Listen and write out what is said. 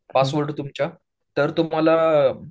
पासपोर्टवर तुमच्या तर तुम्हाला